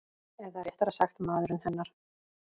Eða réttara sagt maðurinn hennar.